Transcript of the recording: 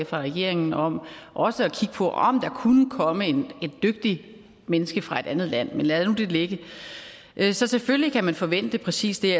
fra regeringen om også at kigge på om der kunne komme et dygtigt menneske fra et andet land men lad nu det ligge så selvfølgelig kan man forvente præcis det